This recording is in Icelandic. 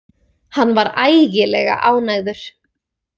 Hann var ægilega ánægður.